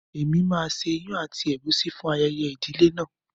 Èmi máa ṣe ìyàn àti ègúsí fún ayẹyẹ ìdílé náà.